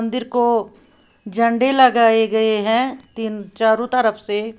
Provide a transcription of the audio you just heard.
दिर को झंडे लगाए गए हैं तीन चारों तरफ से।